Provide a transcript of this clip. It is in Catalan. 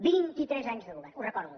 vint itres anys de govern ho recordo